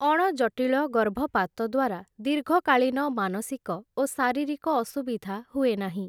ଅଣଜଟିଳ ଗର୍ଭପାତଦ୍ୱାରା ଦୀର୍ଘକାଳୀନ ମାନସିକ ଓ ଶାରୀରିକ ଅସୁବିଧା ହୁଏ ନାହିଁ ।